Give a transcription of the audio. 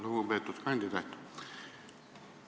Lugupeetud kandidaat!